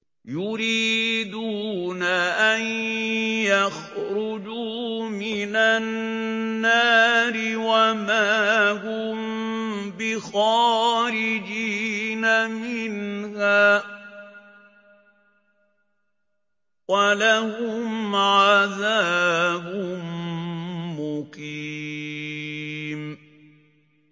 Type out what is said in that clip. يُرِيدُونَ أَن يَخْرُجُوا مِنَ النَّارِ وَمَا هُم بِخَارِجِينَ مِنْهَا ۖ وَلَهُمْ عَذَابٌ مُّقِيمٌ